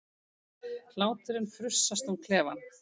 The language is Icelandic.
Hláturinn frussast um klefann.